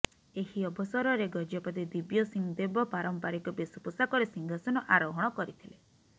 ଏହି ଅବସରରେ ଗଜପତି ଦିବ୍ୟସିଂହ ଦେବ ପାରମ୍ପରିକ ବେଶ ପୋଷାକରେ ସିଂହାସନ ଆରୋହଣ କରିଥିଲେ